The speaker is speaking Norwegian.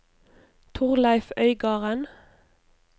Torleif Øygarden